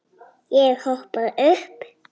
Ég hoppaði upp.